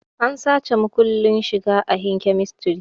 An sace makullin shiga ahin kemistri